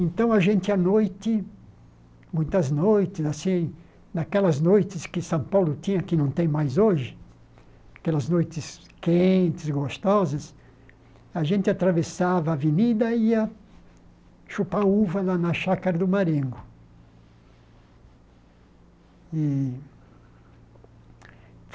Então, a gente, à noite, muitas noites assim, naquelas noites que São Paulo tinha, que não tem mais hoje, aquelas noites quentes, gostosas, a gente atravessava a avenida e ia chupar uva na na chácara do Marengo e.